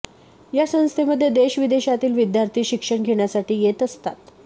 या संस्थमध्ये देशविदेशातील विद्यार्थी शिक्षण घेण्यासाठी येत असतात